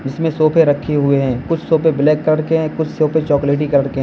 इसमें सोफे रखे हुए हैं कुछ सोफे ब्लैक कलर के हैं कुछ सोफे चॉकलेटी कलर के हैं।